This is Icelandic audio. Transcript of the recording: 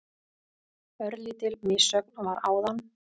Örlítil missögn var áðan.